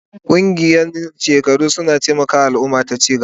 Ƙungiyoyin shekaru suna taimaka wa al'umma ta ci gaba.